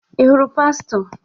Ị hụrụ pastọ?